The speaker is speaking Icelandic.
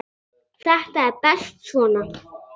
Þetta er best svona.